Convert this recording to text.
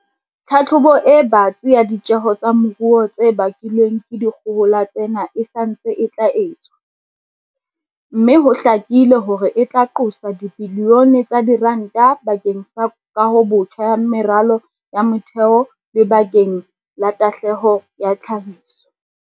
Tlhahlobo e batsi ya ditjeho tsa moruo tse bakilweng ke dikgohola tsena e sa ntse e tla etswa, empa ho hlakile hore e tla qosa dibilione tsa diranta ba keng sa kahobotjha ya meralo ya motheo le bakeng la tahlehelo ya tlhahiso.